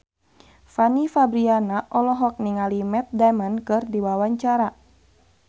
Fanny Fabriana olohok ningali Matt Damon keur diwawancara